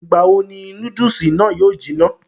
ìgbà wo ni núdùsì náà yóò jiná?